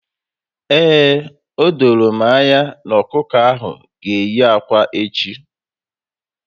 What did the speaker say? Ee, odoro m anya na ọkụkọ ahụ g'eyi akwa echi